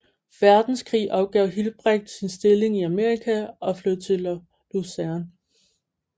Verdenskrig opgav Hilprecht sin stilling i Amerika og flyttede til Lausanne